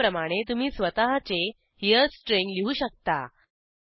याप्रमाणे तुम्ही स्वतःचे हेरे स्ट्रिंग लिहू शकता